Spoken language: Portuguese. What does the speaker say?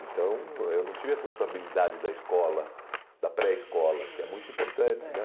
Então, eu não tive essa sociabilidade da escola, da pré-escola, uhum, é, que é muito importante né